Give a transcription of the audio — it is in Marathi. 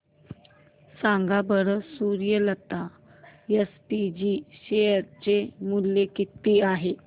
सांगा बरं सूर्यलता एसपीजी शेअर चे मूल्य किती आहे